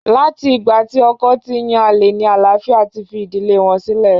Láti ìgbà tí ọkọ ti ń yan àlè ní àlááfíà ti fi ìdílé wọn sílẹ̀.